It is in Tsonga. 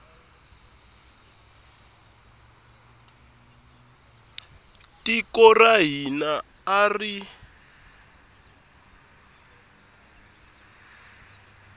tiko ra hina a ri